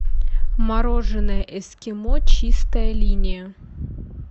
мороженое эскимо чистая линия